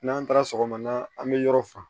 N'an taara sɔgɔmada an mi yɔrɔ fa